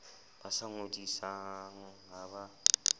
ba sa ngodisang ha ba